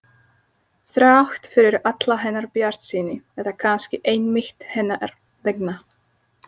Þrátt fyrir alla hennar bjartsýni eða kannski einmitt hennar vegna.